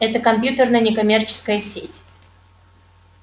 это компьютерная некоммерческая сеть